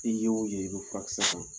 I ye wo ye i be furakisɛ kan .